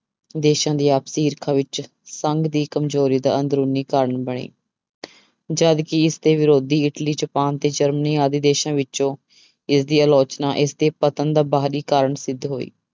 ਦੇਸਾਂ ਦੀ ਆਪਸੀ ਈਰਖਾ ਵਿੱਚ ਸੰਘ ਦੀ ਕਮਜ਼ੋਰੀ ਦਾ ਅੰਦਰੂਨੀ ਕਾਰਨ ਬਣੇ ਜਦਕਿ ਇਸਦੇ ਵਿਰੋਧੀ ਇਟਲੀ, ਜਪਾਨ ਤੇ ਜਰਮਨੀ ਆਦਿ ਦੇਸਾਂ ਵਿੱਚੋਂ ਇਸਦੀ ਅਲੋਚਨਾ ਇਸਦੇ ਪਤਨ ਦਾ ਬਾਹਰੀ ਕਾਰਨ ਸਿੱਧ ਹੋਈ।